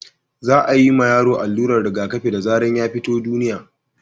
za a ma yaro alluran rigaƙafi da zaran ya fito duniya